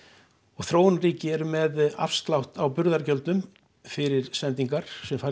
og þróunarríki eru með afslátt af burðargjöldum fyrir sendingar sem fara í